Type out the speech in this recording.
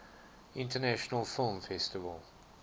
international film festival